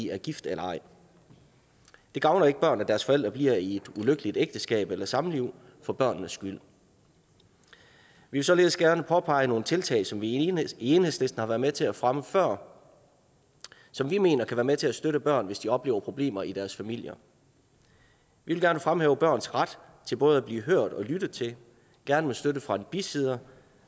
er gift eller ej det gavner ikke børn at deres forældre bliver i et ulykkeligt ægteskab eller samliv for børnenes skyld vi vil således gerne påpege nogle tiltag som vi i enhedslisten har været med til at fremme før og som vi mener kan være med til at støtte børn hvis de oplever problemer i deres familier vi vil gerne fremhæve børns ret til både at blive hørt og lyttet til gerne med støtte fra en bisidder